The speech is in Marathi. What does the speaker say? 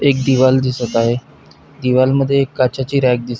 एक दीवार दिसत आहे दीवार मध्ये एक काचेची रॅक दिस--